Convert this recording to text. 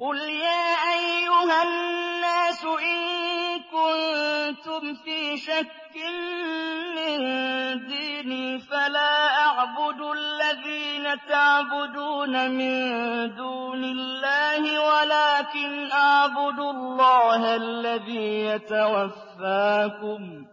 قُلْ يَا أَيُّهَا النَّاسُ إِن كُنتُمْ فِي شَكٍّ مِّن دِينِي فَلَا أَعْبُدُ الَّذِينَ تَعْبُدُونَ مِن دُونِ اللَّهِ وَلَٰكِنْ أَعْبُدُ اللَّهَ الَّذِي يَتَوَفَّاكُمْ ۖ